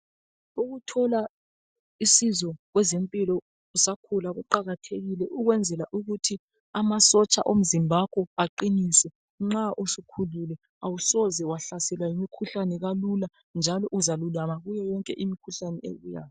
Ukuthola usizo kwezempilo kuqakathekile ukwenzela ukuthi amasotsha omzimba wakho aqinise nxa usukhululi awusoze uhlaselwe yimikhuhlane kalula njalo kuyo yonke imikhuhlane ebuyayo uzalulama masinyane